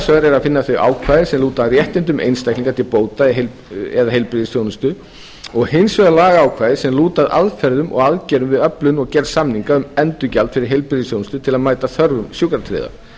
vegar er að finna þau ákvæði sem lúta að réttindum einstaklinga til bóta eða heilbrigðisþjónustu og hins vegar lagaákvæði sem lúta að aðferðum og aðgerðum við öflun og gerð samninga um endurgjald fyrir heilbrigðisþjónustu til að mæta þörfum sjúkratryggðra